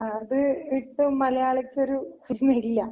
അത് വിട്ട് മലയാളിക്കൊര് ന്ന് ഇല്ല.